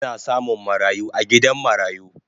Ana samun marayu a gidan marayu